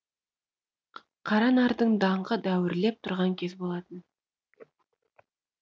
қаранардың даңқы дәуірлеп тұрған кез болатын